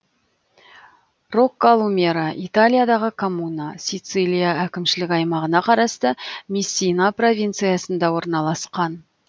роккалумера италиядағы коммуна сицилия әкімшілік аймағына қарасты мессина провинциясында орналасқан